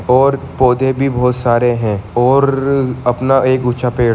और पौधे भी बहुत सारे है और-- अपना एक ऊंचा पेड़--